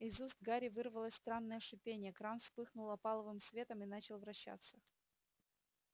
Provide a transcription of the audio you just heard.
из уст гарри вырвалось странное шипение кран вспыхнул опаловым светом и начал вращаться